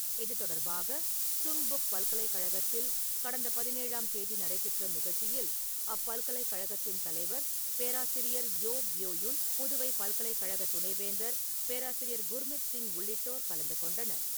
இது தொடர்பாக சுங்புக் பல்கலைக்கழகத்தில் கடந்த பதினேழாம் தேதி நடைபெற்ற நிகழ்ச்சியில் அப்பல்கலைக்கழகத்தின் தலைவர் பேராசிரியர் யோவ் யோ யுன், புதுவை பல்கலைக்கழகத் துணை வேந்தர் பேராசிரியர் குர்மித் சிங் உள்ளிட்டோர் கலந்துகொண்டனர்.